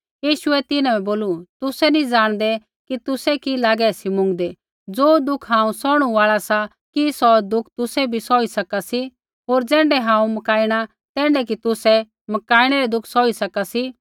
यीशुऐ तिन्हां बै बोलू तुसै नी ज़ाणदै कि तुसै कि लागे सी मुँगदै ज़ो दुःख हांऊँ सौहणु आल़ा सा कि सौ दुःख तुसै बी सौही सका सी होर ज़ैण्ढै हांऊँ मकाइणा तैण्ढै कि तुसै मकाणै रै दुःख सौही सका सी